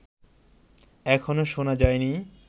এখনও শোনা যায়নি